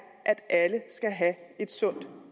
at alle skal have et sundt